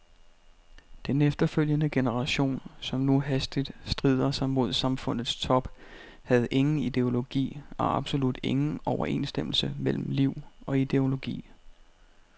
Den efterfølgende generation, som nu hastigt strider sig mod samfundets top, havde ingen ideologi og absolut ingen overensstemmelse mellem liv og ideologi.